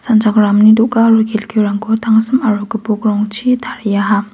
sanchakramni do·ga aro kelkirangko tangsim aro gipokrangchi tariaha.